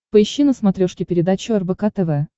поищи на смотрешке передачу рбк тв